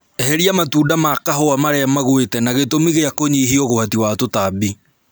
Eheria matunda ma kahũa marĩa magwite na gĩtũmi gĩa kũnyihia ũgwati wa tũtambi